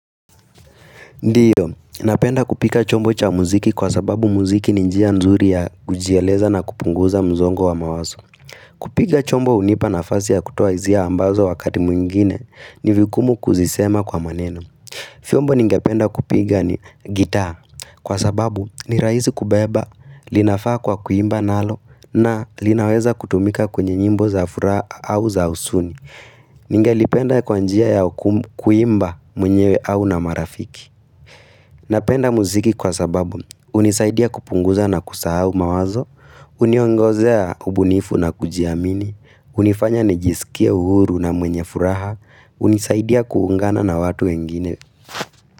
Ndiyo, napenda kupika chombo cha muziki kwa sababu muziki ninjia nzuri ya kujieleza na kupunguza mzongo wa mawazo kupiga chombo hunipa nafasi ya kutoa hizia ambazo wakati mwingine ni vigumu kuzisema kwa maneno vyombo ningapenda kupiga ni gitaa kwa sababu ni rahisi kubeba, linafaa kwa kuimba nalo na linaweza kutumika kwenye nyimbo za furaha au za husuni Ningalipenda kwa njia ya kuimba mwenyewe au na marafiki Napenda muziki kwa sababu hunisaidia kupunguza na kusahau mawazo, uniongozea ubunifu na kujiamini, unifanya nijisikie uhuru na mwenye furaha, hunisaidia kuungana na watu wengine.